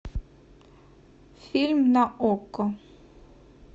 фильм на окко